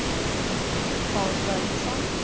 Paul Börjesson